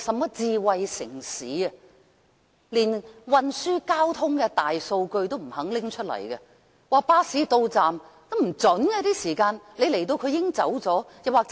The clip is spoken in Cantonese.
現時連運輸交通的大數據也不願意提供，巴士到站通知的時間是不準確的。